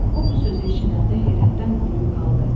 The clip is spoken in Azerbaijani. O bu sözü eşidəndə heyrətdən quruyub qaldı.